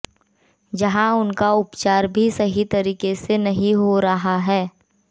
जहां उनका उपचार भी सही तरीके से नहीं हो रहा है